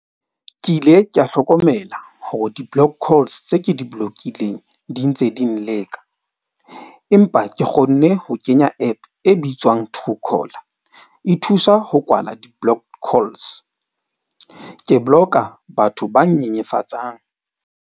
Ke ile ka hlokomela hore di-block calls tse ke di blokileng di ntse di nleka. Empa ke kgonne ho kenya app e bitswang Truecaller e thusa ho kwala di-block calls. Ke block-a batho ba nyenyefatsang.